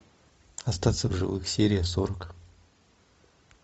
остаться в живых серия сорок